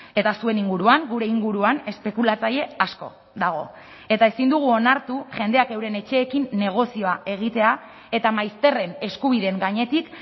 eta zuen inguruan gure inguruan espekulatzaile asko dago eta ezin dugu onartu jendeak euren etxeekin negozioa egitea eta maizterren eskubideen gainetik